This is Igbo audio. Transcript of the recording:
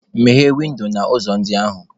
Meghee windo na ụzọ ndị ahụ!